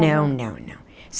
Não, não, não.